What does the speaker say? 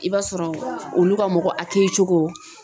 I b'a sɔrɔ olu ka mɔgɔ kɛcogo